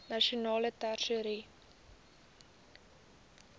nasionale tesourie